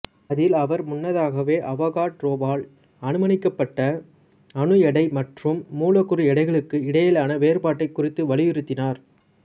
அதில் அவர் முன்னதாக அவகாட்ரோவால் அனுமானிக்கப்பட்ட அணு எடை மற்றும் மூலக்கூறு எடைகளுக்கு இடையிலான வேறுபாட்டைக் குறித்து வலியுறுத்தினார்